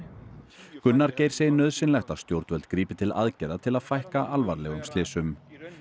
Gunnar Geir segir nauðsynlegt að stjórnvöld grípi til aðgerða til að fækka alvarlegum slysum